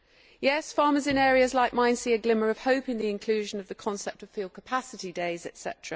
Yes, farmers in areas like mine see a glimmer of hope in the inclusion of the concept of field capacity days, etc.,